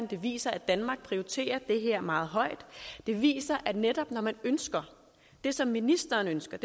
det viser at danmark prioriterer det her meget højt det viser at netop når man ønsker det som ministeren ønsker